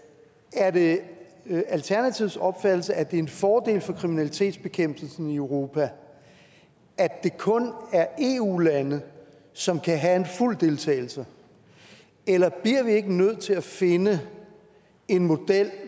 er det alternativets opfattelse at det er en fordel for kriminalitetsbekæmpelsen i europa at det kun er eu lande som kan have en fuld deltagelse eller bliver vi ikke nødt til at finde en model